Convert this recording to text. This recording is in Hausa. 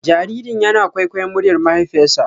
Jaririn yana kwaikwayon muryar mahaifiyarsa.